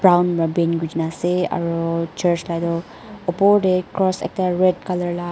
brown pa paint kurina ase aro church la edu opor tae cross ekta red colour la.